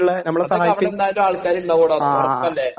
അതൊക്കെ അവിടെ എന്തായാലും ആൾക്കാർ ഉണ്ടാകുമെടാ, ഉറപ്പല്ലേ...